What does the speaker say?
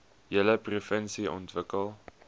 hele provinsie ontwikkel